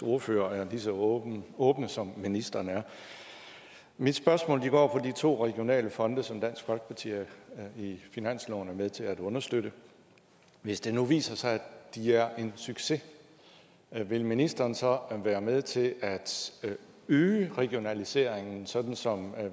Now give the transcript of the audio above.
ordførere er lige så åbne som ministeren er mit spørgsmål går på de to regionale fonde som dansk folkeparti i finansloven er med til at understøtte hvis det nu viser sig at de er en succes vil ministeren så være med til at øge regionaliseringen sådan som